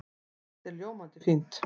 Allt er ljómandi fínt.